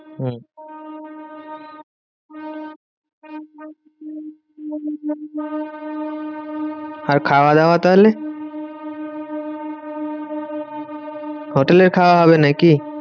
হম আর খাওয়া দাওয়া তাহলে? হোটেলে খাওয়া হবে নাকি?